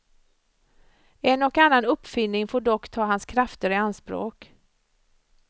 En och annan uppfinning får dock ta hans krafter i anspråk.